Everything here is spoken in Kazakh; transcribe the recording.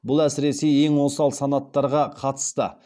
бұл әсіресе ең осал санаттарға қатысты